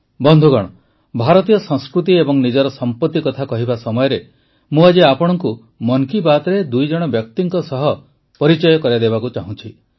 ବନ୍ଧୁଗଣ ଭାରତୀୟ ସଂସ୍କୃତି ଏବଂ ନିଜର ସମ୍ପତି କଥା କହିବା ସମୟରେ ମୁଁ ଆଜି ଆପଣଙ୍କୁ ମନ୍ କି ବାତ୍ରେ ଦୁଇଜଣ ବ୍ୟକ୍ତିଙ୍କ ସହ ପରିଚିତ କରାଇବାକୁ ଚାହୁଁଛି